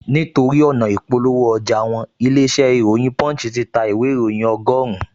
Nítorí ọ̀nà ị̀polówó ọjà wọn, ilé-iṣẹ́ ìròyìn punch ti ta ìwé ìróyìn ọgọ́rùn-un